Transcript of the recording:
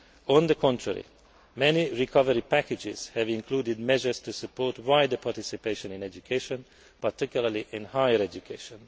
On the contrary, many recovery packages have included measures to support wider participation in education, particularly in higher education.